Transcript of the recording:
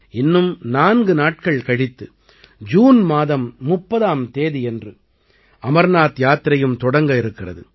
இன்னும் 4 நாட்கள் கழித்து ஜூன் மாதம் 30ஆம் தேதியன்று அமர்நாத் யாத்திரையும் தொடங்க இருக்கிறது